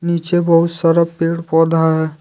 नीचे बहुत सारा पेड़ पौधा है।